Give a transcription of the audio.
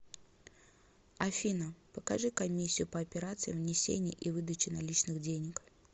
афина покажи комиссию по операциям внесения и выдачи наличных денег